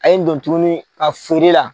A ye n don tuguni a feere la.